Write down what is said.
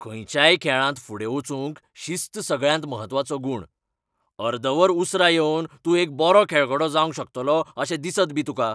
खंयच्याय खेळांत फुडें वचूंक शिस्त सगळ्यांत म्हत्वाचो गूण . अर्द वर उसरां येवन तूं एक बरो खेळगडो जावंक शकतलो अशें दिसत बी तुका.